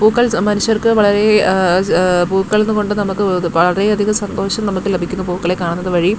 പൂക്കൾ സമ്മാനിച്ചവർക്ക് വളരെ ങ്ങ ആ പൂക്കളുന്ന് കൊണ്ട് നമ്മുക്ക് വളരെ അധികം സന്തോഷം നമ്മുക്ക് ലഭിക്കുന്നു പൂക്കളെ കാണുന്ന വഴി--